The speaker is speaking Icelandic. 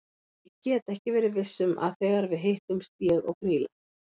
Ég get aldrei verið viss um að þegar við hittumst ég og Grýla.